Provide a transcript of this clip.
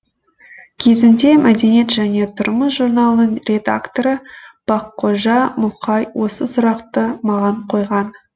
кезінде мәдениет және тұрмыс журналының редакторы баққожа мұқай осы сұрақты маған қойған